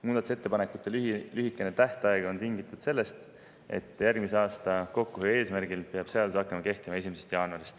Muudatusettepanekute lühikene tähtaeg on tingitud sellest, et järgmise aasta kokkuhoiu eesmärgil peab seadus kehtima hakkama 1. jaanuaril.